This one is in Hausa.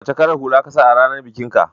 Wacce kalar hula ka sa a ranar bikinka?